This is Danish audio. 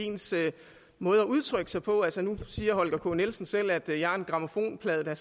i ens måde at udtrykke sig på altså nu siger herre holger k nielsen selv at jeg er en grammofonplade der